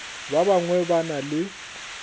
ba bangwe ba na le